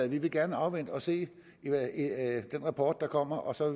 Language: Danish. vi vil gerne afvente og se den rapport der kommer og så